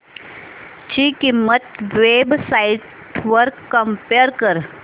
ची किंमत web sites वर कम्पेअर कर